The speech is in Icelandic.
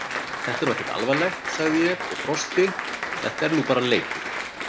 Þetta er nú ekkert alvarlegt, sagði ég og brosti, þetta er nú bara leikur!